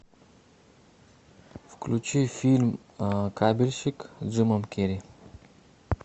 включи фильм кабельщик с джимом керри